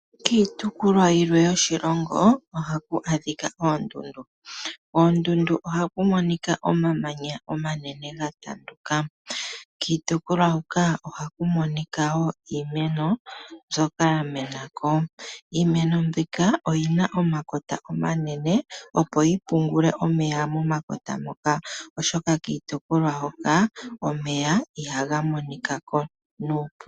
Kiitopolwa yilwe yoshilongo ohaku adhika oondundu. Koondundu ohaku monika omamanya omanene ga tanduka. Kiitopolwa huka ohaku monika woo iimeno mbyoka ya menako . Iimeno mbika oyina omakota omanene opo yi pungule omeya momakota moka ,oshoka kiitopolwa hokanomeya ihaga monikako nuupu.